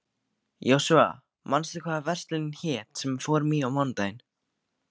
Jósúa, manstu hvað verslunin hét sem við fórum í á mánudaginn?